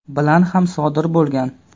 bilan ham sodir bo‘lgan.